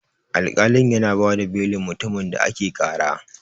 Alkali yana bada belin mutumin da ake ƙara.